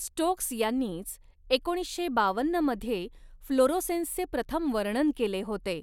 Stokes यांनीच, एकोणीशे बावन्नमध्ये फ्लोरोसेन्सचे प्रथम वर्णन केले होते